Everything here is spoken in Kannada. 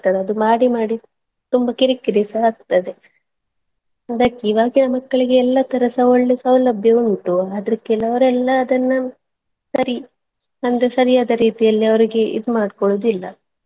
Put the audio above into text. ಅದು ಮಾಡಿ ಮಾಡಿ ತುಂಬಾ ಕಿರಿಕಿರಿ ಸಹ ಆಗ್ತದೆ but ಇವಾಗಿನ ಮಕ್ಕಳಿಗೆ ಎಲ್ಲಾ ತರಸ ಒಳ್ಳೆ ಸೌಲಭ್ಯ ಉಂಟು ಆದ್ರೆ ಕೆಲವರೆಲ್ಲ ಅದನ್ನಾ ಬರೀ ನಂದು ಸರಿಯಾದ ರೀತಿಯಲ್ಲಿ ಅವ್ರಿಗೆ ಇದ್ ಮಾಡ್ಕೊಳ್ಳುವುದಿಲ್ಲ.